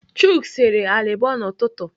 Chuks sere alịbọ n'ụtụtụ.